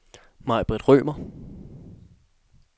Majbrit Rømer